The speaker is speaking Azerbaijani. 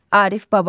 Arif Babayev.